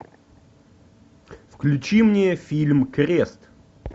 включи мне фильм крест